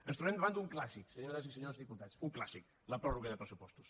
ens trobem davant d’un clàssic senyores i senyors diputats un clàssic la pròrroga de pressupostos